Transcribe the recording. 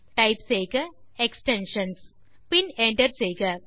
000240 000207 type செய்க extensions பின் enter செய்க